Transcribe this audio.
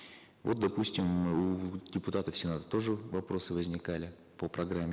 вот допустим у депутатов сената тоже вопросы возникали по программе